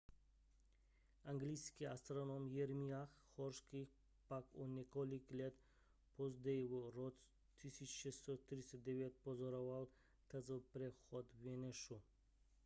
anglický astronom jeremiah horrocks pak o několik let později v roce 1639 pozoroval tzv přechod venuše